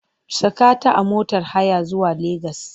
Saka ta a motar haya zuwa Legas!